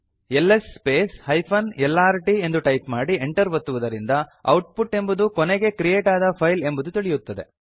LS space hyphen lrt ಎಂದು type ಮಾಡಿ Enter ಒತ್ತುವುದರಿಂದ ಔಟ್ಪುಟ್ ಎಂಬುದು ಕೊನೆಗೆ ಕ್ರಿಯೇಟ್ ಆದ ಫೈಲ್ ಎಂಬುದು ತಿಳಿಯುತ್ತದೆ